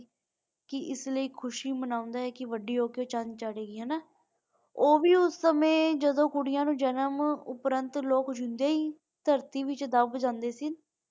ਕਿ ਇਸ ਲਈ ਖੁਸ਼ੀ ਮਨਾਉਂਦਾ ਹੈ ਕਿ ਵਾਦੀ ਹੋ ਕ ਚੰਦ ਚਾੜੇਗੀ ਹੈ ਨਾ ਓ ਭੀ ਉਸ ਸਮੇਂ ਜਦੋ ਕੁੜੀਆਂ ਨੂੰ ਜਨਮ ਦੇਂਦੇ ਹੀ ਧਰਤੀ ਵਿਚ ਦੱਬ ਜਾਂਦੇ ਸੀ.